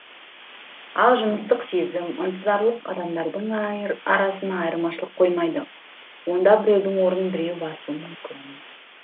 ал жыныстық сезім ынтызарлық адамдардың арасына айырмашылық қоймайды онда біреудің орнын біреу басуы мүмкін